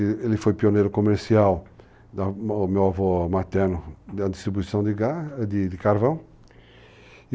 Ele foi pioneiro comercial, o meu avô materno, na distribuição de carvão.